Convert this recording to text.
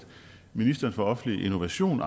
ministeren for offentlig innovation